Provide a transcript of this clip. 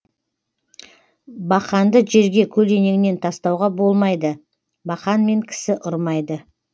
бақанды жерге көлденеңінен тастауға болмайды бақанмен кісі ұрмайды